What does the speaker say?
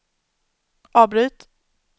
avbryt